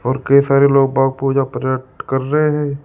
और कई सारे लोग बाघ पूजा कर रहे हैं।